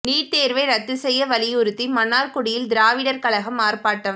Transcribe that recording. NEET தேர்வை ரத்து செய்ய வலியுறுத்தி மன்னார்குடியில் திராவிடர் கழகம் ஆர்ப்பாட்டம்